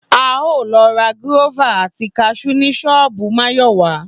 A óò lo̩ ra gúró̩fà àti kas̩ú ni s̩ó̩ò̩bù Máyò̩wá